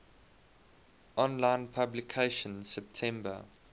online publication september